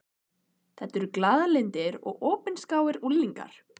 Þetta eru glaðlyndir og opinskáir unglingar.